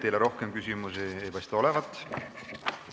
Teile rohkem küsimusi ei paista olevat.